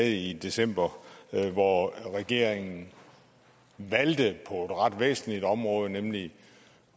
i december hvor regeringen valgte på et ret væsentligt område nemlig